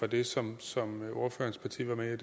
det som som ordførerens parti var med i